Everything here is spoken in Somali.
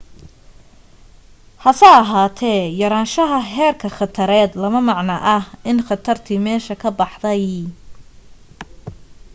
hase ahaatee yaraanshaha heerka khatareed lama macno aha in khatartii meesha ka baxday